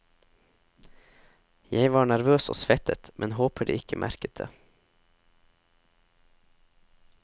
Jeg var nervøs og svettet, men håper de ikke merket det.